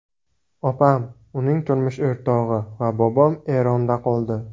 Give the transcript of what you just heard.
Opam, uning turmush o‘rtog‘i va bobom Eronda qoldi.